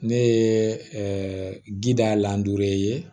Ne ye ginda lan dure